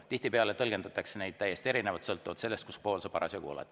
Tihtipeale tõlgendatakse täiesti erinevalt, sõltuvalt sellest, kus pool sa parasjagu oled.